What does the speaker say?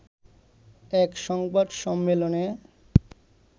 এক সংবাদ সম্মেলনে